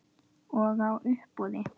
Og á uppboð.